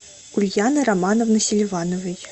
ульяны романовны селивановой